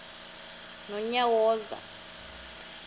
nonyawoza